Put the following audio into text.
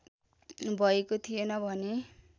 भएको थिएन भने